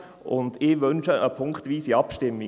Ich wünsche eine punktweise Abstimmung.